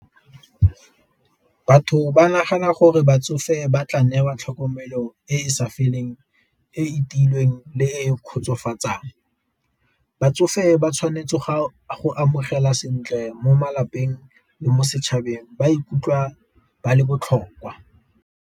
Batho ba nagana gore batsofe ba tla newa tlhokomelo e e sa feleng e e tiilweng le e kgotsofatsang, batsofe ba tshwanetse go amogela sentle mo malapeng le mo setšhabeng ba ikutlwa ba le botlhokwa.